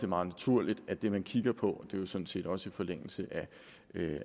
meget naturligt at det man kigger på jo sådan set også i forlængelse